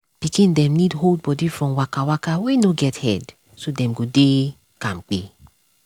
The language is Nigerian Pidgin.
pikin dem need hold body from waka waka wey no get head so dem go dey kampe.